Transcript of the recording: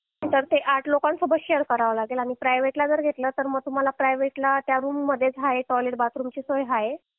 तर ते आठ लोकांसोबत शेअर करावा लागे तर प्रायव्हेट ला जर घेतलं तर तुम्हाला फोटो प्रायव्हेट ला त्या रूम मध्येच तुम्हाला टॉयलेट बाथरूमची सोय आहे